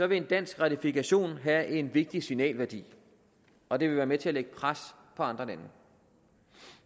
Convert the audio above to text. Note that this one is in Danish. vil en dansk ratifikation have en vigtig signalværdi og det vil være med til at lægge pres på andre lande